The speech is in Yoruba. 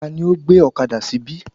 Tani ó gbé ọ̀kadà síbí?